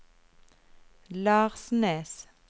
Larsnes